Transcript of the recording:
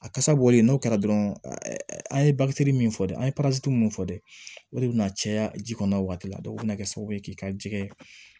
A kasa bɔlen n'o kɛra dɔrɔn an ye min fɔ an ye minnu fɔ de o de bɛna caya ji kɔnɔ o waati la dɔn o bɛna kɛ sababu ye k'i ka ji kɛ